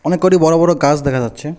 অনেক কটি বড়ো বড়ো গাছ দেখা যাচ্ছে।